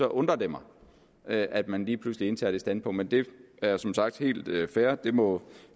undrer det mig at man lige pludselig indtager det standpunkt men det er som sagt helt fair det må